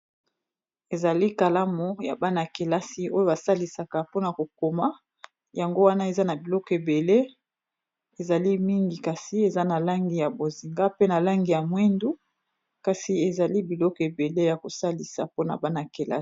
ezali kalamu ya bana-kelasi oyo basalisaka mpona kokoma yango wana eza na biloko ebele ezali mingi kasi eza na langi ya bozinga pe na langi ya mwindu kasi ezali biloko ebele ya kosalisa mpona bana-kelasi